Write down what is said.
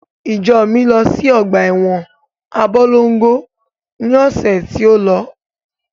Ìjọ mi lọ sí ọgbà ẹwọn Abólongo ni ọ̀sẹ̀ tí ó.